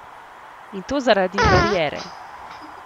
In to zaradi bariere.